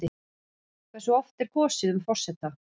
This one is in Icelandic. Hversu oft er kosið um forseta?